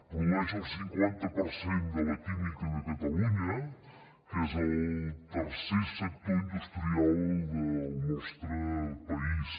produeix el cinquanta per cent de la química de catalunya que és el tercer sector industrial del nostre país